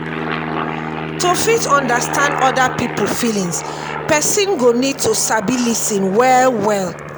to fit understand oda pipo feelings person go feelings person go need to sabi lis ten well well